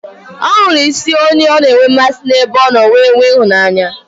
Ọ hụrụ isi onye ọ na enwe mmasị n'ebe ọ nọ wee nwee ịhụnanya